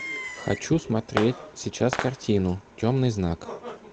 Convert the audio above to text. хочу смотреть сейчас картину темный знак